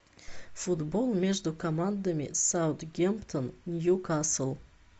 футбол между командами саутгемптон ньюкасл